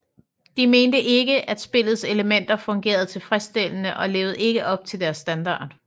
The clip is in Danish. De mente ikke at spillets elementer fungerede tilfredsstillende og levede ikke op til deres standard